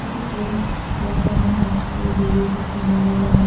কিছু পোস্ট বসানো হচ্ছে দূরে কিছু নীল রংয়ের--